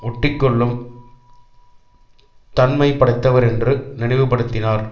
ஒட்டி கொள்ளும் தன்மை படைத்தவர் ரென்று நினைவு படுத்தினார்